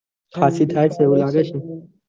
ખસી થાય તો આવે છે